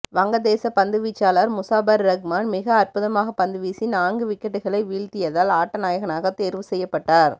வங்கதேச பந்துவீச்சாளர் முசாபர் ரஹ்மான் மிக அற்புதமாக பந்து வீசி நான்கு விக்கெட்டுக்களை வீழ்த்தியதால் ஆட்டநாயகனாக தேர்வு செய்யப்பட்டார்